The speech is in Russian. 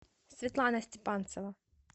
светлана степанцева